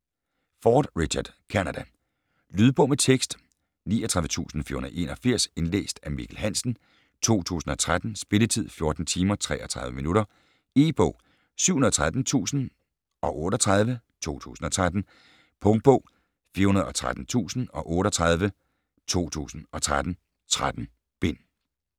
Ford, Richard: Canada Lydbog med tekst 39481 Indlæst af Mikkel Hansen, 2013. Spilletid: 14 timer, 33 minutter. E-bog 713038 2013. Punktbog 413038 2013. 13 bind.